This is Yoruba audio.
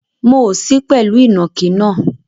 Mo ò sí pẹ̀lú ìnàkí náà.